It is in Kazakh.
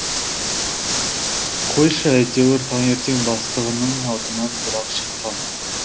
қойшы әйтеуір таңертең бастығының алдынан бір ақ шыққан